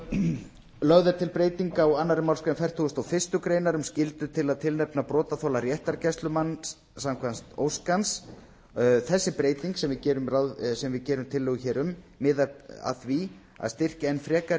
breytingartillögu lögð er til breyting á annarri málsgrein fertugustu og fyrstu grein um skyldu til að tilnefna brotaþola réttargæslumann samkvæmt ósk hans þessi breyting sem við gerum tillögu hér um miðar að því að styrkja enn frekar